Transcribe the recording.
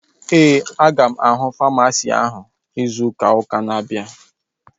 Ee, aga m ahụ famasisti áhụ̀ izu ụka na-abịa